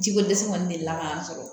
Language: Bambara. Ji ko dɛsɛ kɔni delila ka an sɔrɔ